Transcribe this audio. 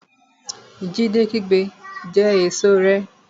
Jídé kígbe Jẹ èso rẹ!